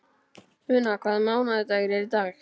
Una, hvaða mánaðardagur er í dag?